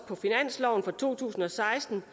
på finansloven for to tusind og seksten